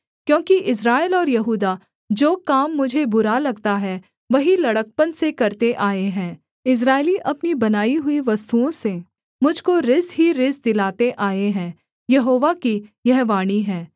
क्योंकि इस्राएल और यहूदा जो काम मुझे बुरा लगता है वही लड़कपन से करते आए हैं इस्राएली अपनी बनाई हुई वस्तुओं से मुझ को रिस ही रिस दिलाते आए हैं यहोवा की यह वाणी है